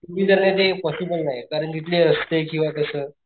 to wheeler ने ते possible नाहीये कारण तिथले रस्ते किंवा कस,